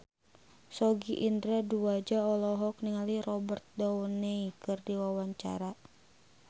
Sogi Indra Duaja olohok ningali Robert Downey keur diwawancara